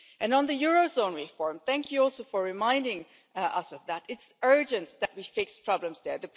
On the eurozone reform thank you for reminding us of that it is urgent that we fix the problems